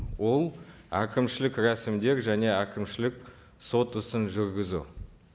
ол әкімшілік рәсімдер және әкімшілік сот ісін жүргізу